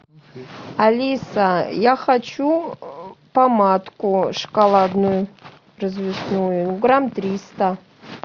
алиса я хочу помадку шоколадную развесную грамм триста